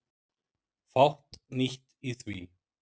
Fátt nýtt í því.